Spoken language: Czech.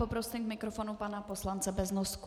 Poprosím k mikrofonu pana poslance Beznosku.